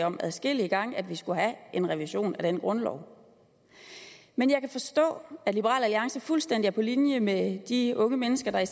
om adskillige gange vi skulle have en revision af den grundlov men jeg kan forstå at liberal alliance er fuldstændig på linje med de unge mennesker i